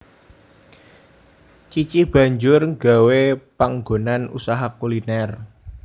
Cici banjur nggawé panggonan usaha kuliner